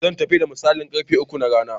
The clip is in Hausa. Zan tafi da misalin ƙarfe uku na rana.